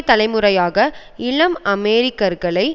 தலைமுறையாக இளம் அமெரிக்கர்களை